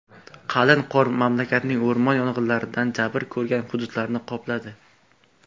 Qalin qor mamlakatning o‘rmon yong‘inlaridan jabr ko‘rgan hududlarini qopladi.